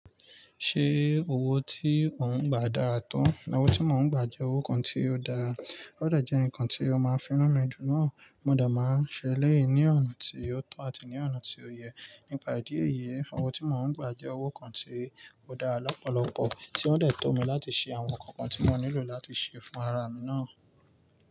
Ṣé owó tí ò ń gbà dára to? Owó tí mò ń gbà jẹ́ owó kan tí ó dára. Ó dẹ̀ jẹ́ nǹkan tí ó máa ń fi nùn mi dùn náà. Mo dẹ̀ máa ń ṣe èléyii ní ọ̀nà tí ó tọ àti ní ọ̀nà tí ó yẹ. Nípa ìdí èyí, owó tí mò ń gbà jẹ́ owó kan tí ó dára lọ́pọ̀lọpọ̀ tí ó dẹ̀ to mi láti ṣe àwọn nǹkan tí mo nílò láti ṣe fún ara mi náà.